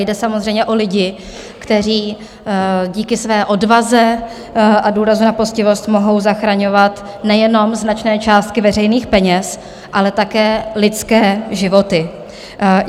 Jde samozřejmě o lidi, kteří díky své odvaze a důrazu na poctivost mohou zachraňovat nejenom značné částky veřejných peněz, ale také lidské životy.